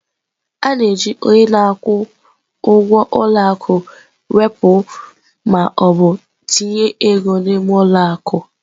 A na-eji onye na-akwụ ụgwọ ụlọ akụ wepụ ma ọ bụ tinye ego n'ime ụlọ akụ.